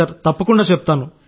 సరే సార్